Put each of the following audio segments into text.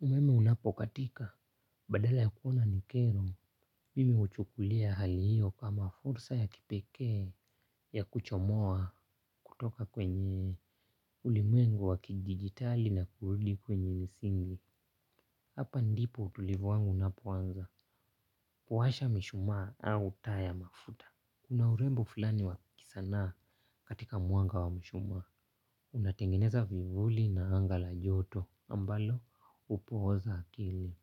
Umeme unapokatika badala ya kuona ni kero. Mimi huchukulia hali hiyo kama fursa ya kipekee ya kuchomoa kutoka kwenye ulimwengu wakidijitali na kurudi kwenye misingi. Hapa ndipo utulivu wangu unapoanza kuwasha mishumaa au taa ya mafuta. Kuna urembo fulani wa kisana katika mwanga wa mishumaa. Unatengeneza vivuli na anga la joto ambalo upooza akili.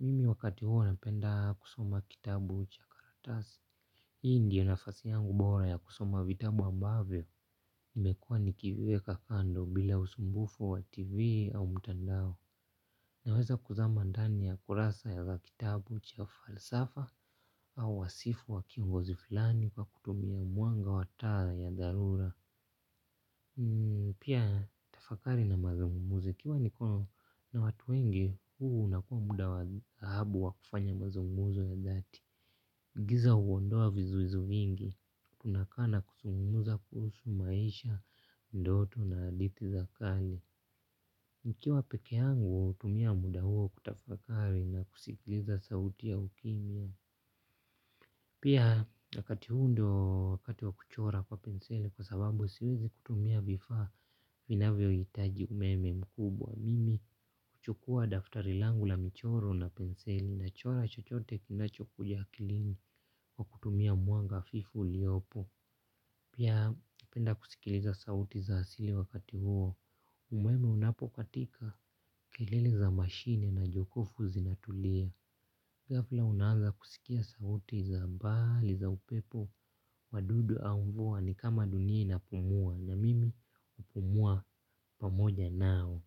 Mimi wakati huo napenda kusoma kitabu cha karatasi. Hii ndiyo nafasi yangu bora ya kusoma vitabu ambavyo nimekuwa nikivyeka kando bila usumbufu wa tv au mtandao. Naweza kuzama ndani ya kurasa ya kitabu cha falsafa. Au wasifu wa kiongozi fulani kwa kutumia mwanga wa taa ya dharura. Pia tafakari na mazungumzo ikiwa niko na watu wengi. Huu na kuwa muda wa dhahabu wa kufanya mazunguzo ya dhati. Giza huondoa vizuizi vingi. Tunakaa na kuzungumza kuhusu maisha, ndoto na hadithi za kale nikiwa pekee yangu, hutumia muda huo kutafakari na kusikiliza sauti ya ukimya. Pia wakati huu ndiyo wakati wa kuchora kwa penseli. Kwa sababu siwezi kutumia vifaa vinavyohitaji umeme mkubwa mimi. Kuchukua daftari langu la michoro na penseli nachora chochote kinachokuja akilini. Kwa kutumia mwanga hafifu uliopo. Pia hupenda kusikiliza sauti za asili wakati huo. Umeme unapokatika kelele za mashine na jokofu zinatulia. Ghafla unaanza kusikia sauti za mbali za upepo. Wadudu au mvua ni kama dunia inapumua. Na mimi hupumua pamoja nao.